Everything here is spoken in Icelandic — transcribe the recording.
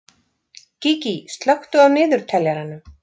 Gígí, slökktu á niðurteljaranum.